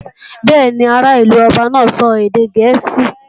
Bẹ́ẹ̀ni, ará ìlú ọba náà sọ èdè gẹ̀ẹ́sì